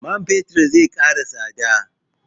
Man fetir zai ƙara tsada?